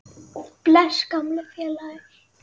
Bless, gamli félagi.